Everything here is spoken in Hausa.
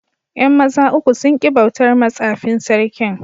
Yan maza uku sun ki bautar ma tsafin Sarkin.